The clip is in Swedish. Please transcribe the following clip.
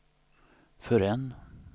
förrän